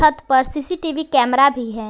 पर CCTV camera भी है।